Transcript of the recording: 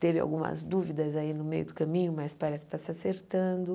Teve algumas dúvidas aí no meio do caminho, mas parece que está se acertando.